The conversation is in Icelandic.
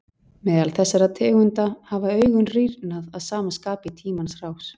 Meðal þessara tegunda hafa augun rýrnað að sama skapi í tímans rás.